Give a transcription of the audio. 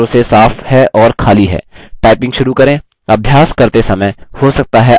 typing शुरू करें